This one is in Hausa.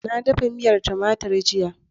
Na dafa miya tumatur jiya.